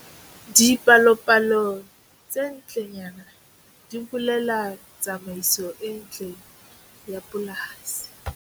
Dipalopalo tse ntlenyana di bolela tsamaiso e ntle ya polasi.